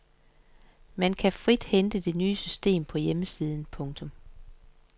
Man kan frit hente det nye system på hjemmesiden. punktum